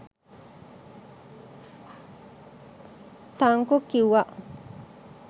Thank you කිව්වා.